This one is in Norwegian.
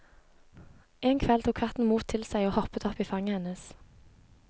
En kveld tok katten mot til seg og hoppet opp i fanget hennes.